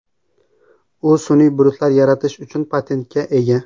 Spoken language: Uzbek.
U sun’iy bulutlar yaratish uchun patentga ega.